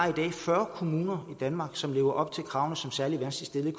fyrre kommuner i danmark som lever op til kravene som særlig vanskeligt